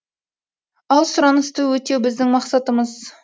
ал сұранысты өтеу біздің мақсатымыз